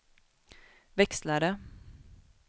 växlare